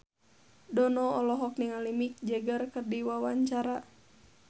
Dono olohok ningali Mick Jagger keur diwawancara